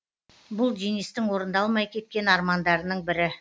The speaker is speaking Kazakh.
бұл денистің орындалмай кеткен армандарының бірі